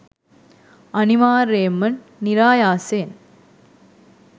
අනිවාර්යයෙන්ම නිරායාසයෙන්